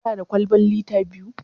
Kana da kwalban lita biyu?